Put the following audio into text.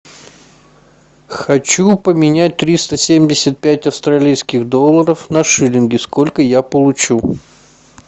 хочу поменять триста семьдесят пять австралийских долларов на шиллинги сколько я получу